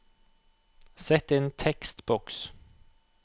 Sett inn tekstboks